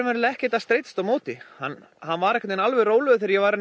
ekkert að streitast á móti hann hann var alveg rólegur þegar ég var